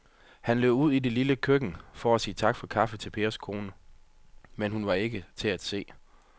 Han løb ud i det lille køkken for at sige tak for kaffe til Pers kone, men hun var ikke til at se.